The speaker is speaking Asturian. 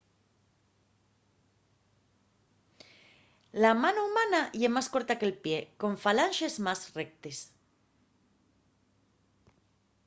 la mano humana ye más corta que’l pie con falanxes más rectes